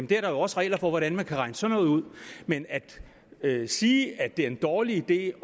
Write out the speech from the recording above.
der er også regler for hvordan man kan regne sådan noget ud men at sige at det er en dårlig idé